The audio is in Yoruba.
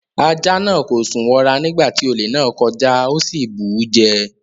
Ajá náà kò sùn wọra nígbà tí olè náà ń kọjá. Ó sì bù ú jẹ.